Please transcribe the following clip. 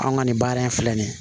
An ka nin baara in filɛ nin ye